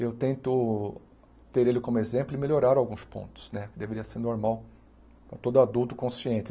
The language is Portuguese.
Eu tento ter ele como exemplo e melhorar alguns pontos, né, deveria ser normal para todo adulto consciente.